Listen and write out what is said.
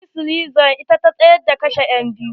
Mary slessor ita ta tsayar da kashe enbiyu.